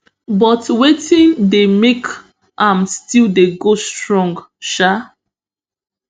but wetin dey make im still dey go strong um